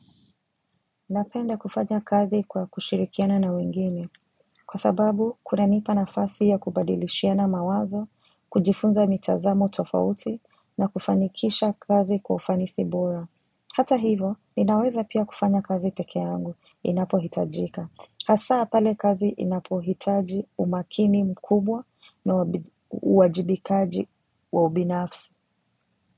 Napenda kufanya kazi kwa kushirikiana na wengine, kwa sababu kunanipa nafasi ya kubadilishiana mawazo, kujifunza mitazamo tofauti, na kufanikisha kazi kwa ufanisi bora. Hata hivyo, ninaweza pia kufanya kazi peke angu, inapohitajika. Hasa pale kazi inapohitaji umakini mkubwa na uwajibikaji wa ubinafsi.